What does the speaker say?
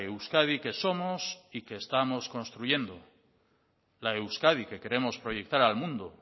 euskadi que somos y que estamos construyendo la euskadi que queremos proyectar al mundo